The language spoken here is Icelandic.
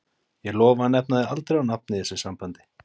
Ég lofa að nefna þig aldrei á nafn í þessu sambandi.